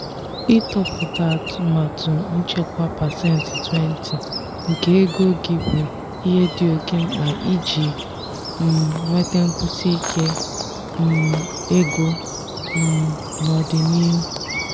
ịtọpụta atụmatụ nchekwa pasentị 20 nke ego gị bụ ihe dị oke mkpa iji um nweta nkwụsiike um ego um n'ọdịnihu.